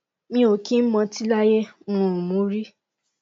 mi ò kí ń mọtí láyé mi ò mu ún rí